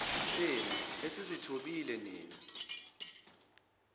senu esizithobile nina